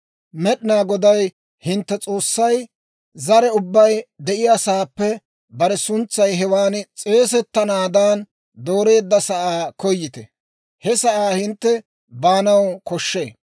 Med'inaa Goday hintte S'oossay zare ubbay de'iyaasaappe bare suntsay hewan s'eesettanaadan dooreedda sa'aa koyite. He sa'aa hintte baanaw koshshee.